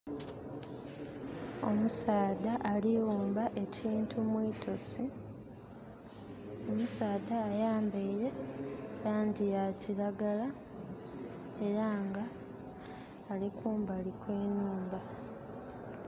Omusaadha ali wumba ekintu mwitosi. Omusaadha ayambaire langi ya kiragala era nga alikumbali kwe nhumba